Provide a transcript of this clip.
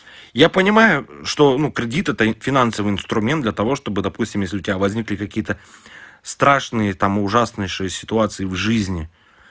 я понимаю что ну кредит это финансовый инструмент для того чтобы допустим если у тебя возникли какие-то страшные там ужаснейшие ситуации в жизни